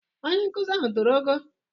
Onye nkuzi ahụ toro ogo?